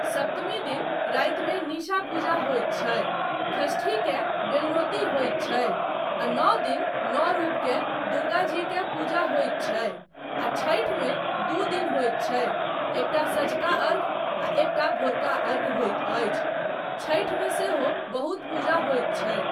सप्तमी दिन रातिमे निशा पूजा होइत छै, षष्ठीकेँ बेलनौती होइत छै आ नओ दिन नओ रुपकेँ दुर्गाजीकेँ पूजा होइत छै आ छठिमे दू दिन होइत छै एकटा सँझका अर्घ्य आ एकटा भोरका अर्घ्य होइत अछि, छठिमे सेहो बहुत पूजा होइत छै।